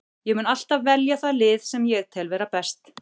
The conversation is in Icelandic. Ég mun alltaf velja það lið sem ég tel vera best.